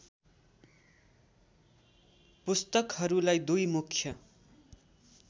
पुस्तकहरूलाई दुई मुख्य